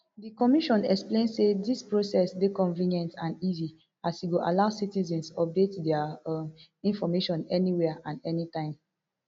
di commission explain say dis process dey convenient and easy as e go allow citizens update dia um information anywhere and anytime